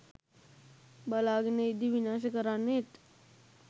බලාගෙන ඉද්දි විනාශ කරන්නෙත්